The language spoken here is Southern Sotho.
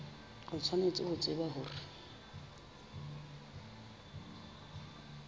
o tshwanetse ho tseba hore